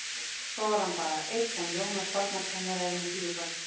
Svo var hann bara einn en Jónas barnakennari er með fjögur börn.